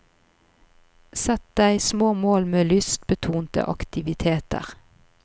Sett deg små mål med lystbetonede aktiviteter.